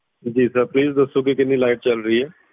ਜੀ sirplease ਦਸੋ ਕੇ ਕਿੰਨੀ light ਚੱਲ ਰਹੀ ਆ